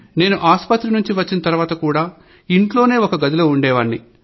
నేను ఆస్పత్రి నుంచి వచ్చిన తర్వాత కూడా ఇంట్లోనే ఒక గదిలో ఉండేవాన్ని